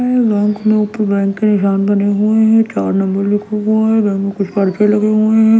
में बैंक के ऊपर बैंक के निशान बने हुए हैं चार नंबर लिखा हुआ है बैंक में कुछ करते लगे हुए हैं।